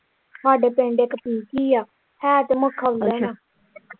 ਹਾਡੇ ਪਿੰਡ ਇੱਕ ਪਿੰਕੀ ਆ ਹੈ ਤੇ ਮਖੌਲਣ ਆ ਅੱਛਾ।